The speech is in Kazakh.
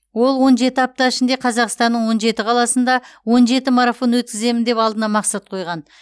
ол он жеті апта ішінде қазақстанның он жеті қаласында он жеті марафон өткіземін деп алдына мақсат қойған